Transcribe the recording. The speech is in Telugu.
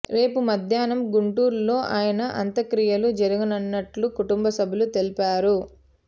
రేపు మధ్యాహ్నం గుంటూరులో ఆయన అంత్యక్రియలు జరగనున్నట్టు కుటుంబ సభ్యులు తెలిపారు